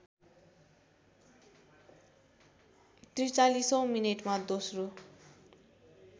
४३ औँ मिनेटमा दोस्रो